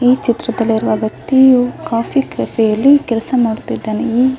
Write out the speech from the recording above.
ಈ ಚಿತ್ರದಲ್ಲಿ ಇರುವ ವೆಕ್ತಿಯು ಕಾಫೀ ಕೆಫೆ ಅಲ್ಲಿ ಕೆಲಸ ಮಾಡುತ್ತಿದಾನೆ ಈ --